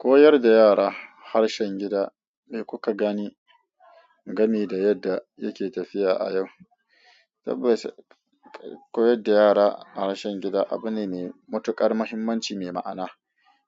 Koyar da yara harshen gida da kuka gani gami da yadda yake tafiya a yau. Tabbas, koyar da yara harshen gida abu ne mai matukar mahimmanci mai ma'ana,